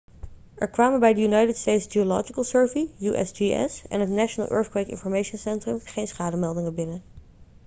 er kwamen bij de united states geological survey usgs en het national earthquake information centrum geen schademeldingen binnen